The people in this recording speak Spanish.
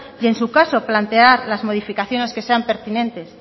y en su caso plantear las modificaciones que sean pertinentes